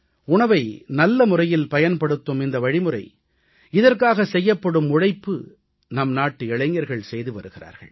உணவை நல்ல முறையில் பயனபடுத்தும் இந்த வழிமுறை இதற்காக செய்யப்படும் உழைப்பு நம்நாட்டு இளைஞர்கள் செய்து வருகிறார்கள்